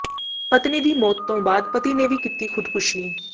ਪਤਨੀ ਦੀ ਮੌਤ ਤੋਂ ਬਾਅਦ ਪਤੀ ਨੇ ਵੀ ਕੀਤੀ ਖ਼ੁਦਕੁਸ਼ੀ